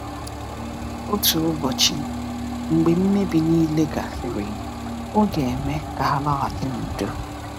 Otu ụbọchị mgbe mmebi niile gasịrị, Ọ ga-eme ka ha laghachi n’udo.